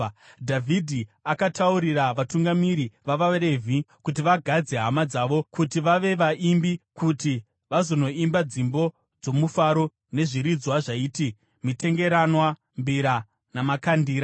Dhavhidhi akataurira vatungamiri vavaRevhi kuti vagadze hama dzavo kuti vave vaimbi kuti vazonoimba dzimbo dzomufaro nezviridzwa zvaiti: mitengeranwa, mbira, namakandira.